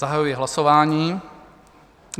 Zahajuji hlasování.